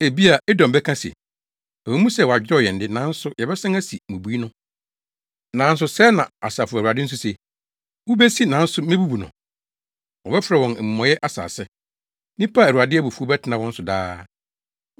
Ebia Edom bɛka se, “Ɛwɔ mu sɛ wɔadwerɛw yɛn de, nanso yɛbɛsan asi mmubui no.” Nanso sɛɛ na Asafo Awurade nso se: “Wobesi nanso mebubu no. Wɔbɛfrɛ wɔn Amumɔyɛ Asase, nnipa a Awurade abufuw bɛtena wɔn so daa.